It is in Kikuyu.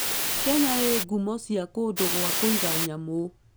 Kenya ĩĩ ngumo cia kũndũ gwa kũiga nyamũ.